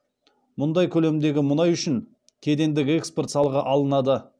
мұндай көлемдегі мұнай үшін кедендік экспорт салығы алынады